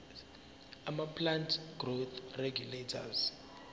amaplant growth regulators